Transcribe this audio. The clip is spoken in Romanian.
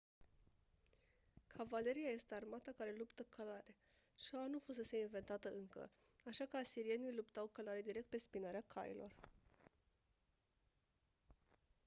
cavaleria este armata care luptă călare șaua nu fusese inventată încă așa că asirienii luptau călare direct pe spinarea cailor